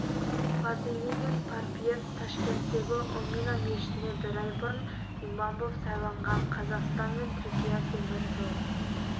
фазлиддин парпиев ташкенттегі омина мешітіне бір ай бұрын имам боп сайланған қазақстан мен түркия темір жол